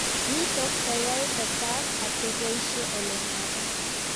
Nitok koyae kotak ak keboishe ole magat